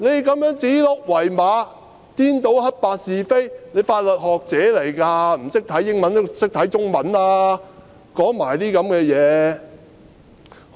她這樣指鹿為馬，顛倒黑白是非，她是法律學者，不懂英文也懂得中文吧，但她竟然說這些話。